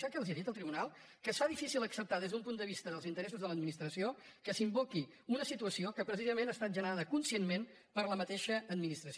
sap què els ha dit el tribunal que es fa difícil acceptar des d’un punt de vista dels interessos de l’administració que s’invoqui una situació que precisament ha estat generada conscientment per la mateixa administració